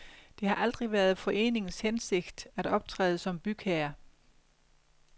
Det har aldrig været foreningens hensigt at optræde som bygherre.